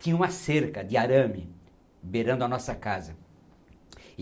Tinha uma cerca de arame beirando a nossa casa.